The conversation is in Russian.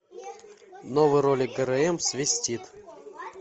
новый ролик грм свистит